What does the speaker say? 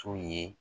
So ye